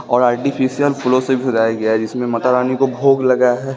और आर्टिफिशियल फूलों से भजाया गया है जिसमें माता रानी को भोग लगा है।